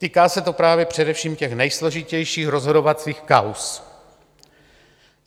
Týká se to právě především těch nejsložitějších rozhodovacích kauz.